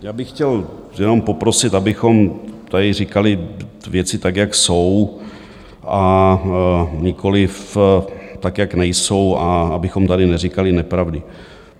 Já bych chtěl jenom poprosit, abychom tady říkali věci tak, jak jsou, a nikoliv tak, jak nejsou, a abychom tady neříkali nepravdy.